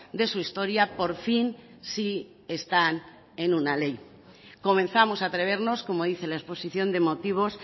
de su historia por fin sí están en una ley comenzamos a atrevernos como dice la exposición de motivos